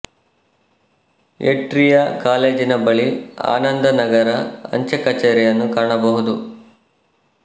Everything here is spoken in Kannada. ಏಟ್ರಿಯಾ ಕಾಲೇಜಿನ ಬಳಿ ಆನಂದ ನಗರ ಅಂಚೆ ಕಚೇರಿಯನ್ನು ಕಾಣಬಹುದು